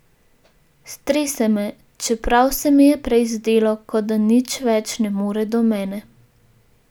Strese me, čeprav se mi je prej zdelo, ko da nič več ne more do mene.